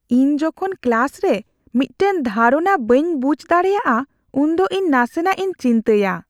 ᱤᱧ ᱡᱚᱠᱷᱚᱱ ᱠᱞᱟᱥ ᱨᱮ ᱢᱤᱫᱴᱟᱝ ᱫᱷᱟᱨᱚᱱᱟ ᱵᱟᱹᱧ ᱵᱩᱡᱷ ᱫᱟᱲᱮᱭᱟᱜᱼᱟ, ᱩᱱᱫᱚ ᱤᱧ ᱱᱟᱥᱮᱱᱟᱜ ᱤᱧ ᱪᱤᱱᱛᱟᱹᱭᱟ ᱾